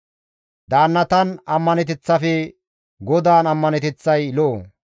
Daannatan ammaneteththafe GODAAN ammaneteththay lo7o.